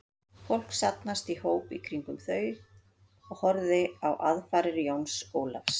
Fólk safnaðist í hóp í kringum þau og horfði á aðfarir Jóns Ólafs.